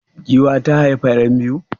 Giwa ta haifar yan biyu?